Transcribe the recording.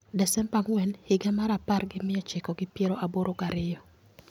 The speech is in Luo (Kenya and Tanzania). Desemba ang'wen higa mar apar gi mia ochiko gi piero aboro gariyo